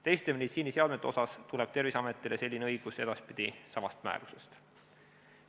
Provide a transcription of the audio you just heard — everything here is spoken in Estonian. Teiste meditsiiniseadmete puhul tuleneb Terviseametile selline õigus edaspidi samast määrusest.